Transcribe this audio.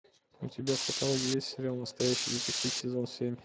у тебя в каталоге есть сериал настоящий детектив сезон семь